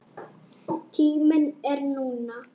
Tíminn er núna.